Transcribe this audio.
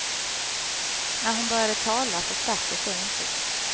När hon började tala förstärktes det intrycket.